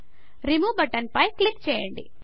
remove button పై click చేయండి